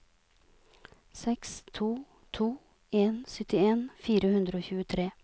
seks to to en syttien fire hundre og tjuetre